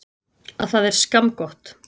Að það er skammgott.